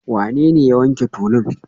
Wanene ya wanke tulun?